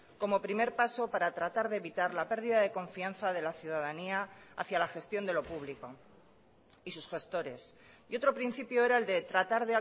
como primer paso para tratar de evitar la pérdida de confianza de la ciudadanía hacia la gestión de lo público y sus gestores y otro principio era el de tratar